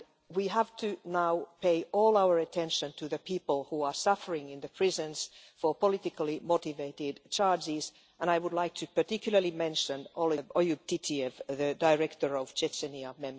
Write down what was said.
We have to now pay all of our attention to the people who are suffering in the prisons for politically motivated charges, and I would like to particularly mention Oyub Titiev, the director of Memorial' in Chechnya.